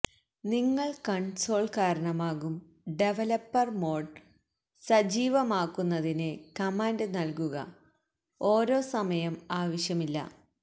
നിങ്ങൾ കൺസോൾ കാരണമാകും developer mode സജീവമാക്കുന്നതിന് കമാൻഡ് നൽകുക ഓരോ സമയം ആവശ്യമില്ല